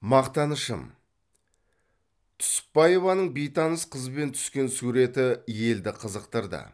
мақтанышым түсіпбаеваның бейтаныс қызбен түскен суреті елді қызықтырды